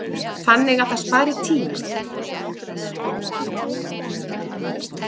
Þannig að það spari tíma.